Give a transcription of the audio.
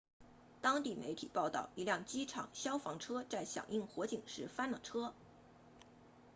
当地媒体报道一辆机场消防车在响应火警时翻了车